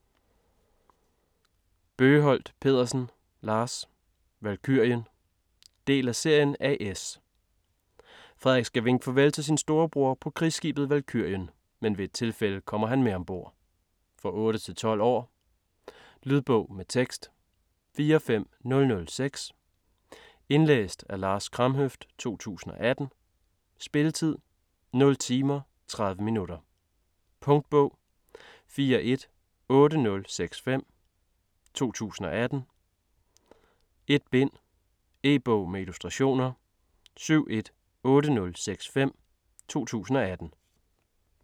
Bøgeholt Pedersen, Lars: Valkyrien Del af serien A/S. Frederik skal vinke farvel til sin storebror på krigsskibet "Valkyrien," men ved et tilfælde kommer han med ombord. For 8-12 år. Lydbog med tekst 45006 Indlæst af Lars Kramhøft, 2018. Spilletid: 0 timer, 30 minutter. Punktbog 418065 2018. 1 bind. E-bog med illustrationer 718065 2018.